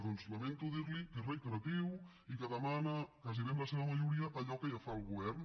doncs lamento dirli que és reiteratiu i que demana gairebé en la seva majoria allò que ja fa el govern